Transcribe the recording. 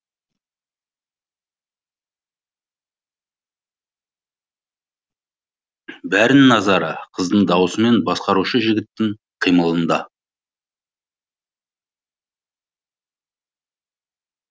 бәрінің назары қыздың дауысы мен басқарушы жігіттің қимылында